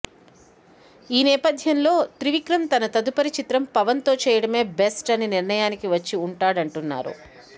ఈ నేపధ్యంలో త్రివిక్రమ్ తన తదుపరి చిత్రం పవన్ తో చేయటమే బెస్ట్ అని నిర్ణయానికి వచ్చి ఉంటాడంటున్నారు